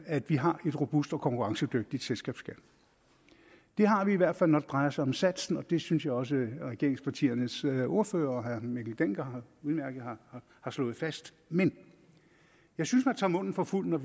at vi har en robust og konkurrencedygtig selskabsskat det har vi i hvert fald når det drejer sig om satsen og det synes jeg også regeringspartiernes ordførere og herre mikkel dencker udmærket har slået fast men jeg synes man tager munden for fuld når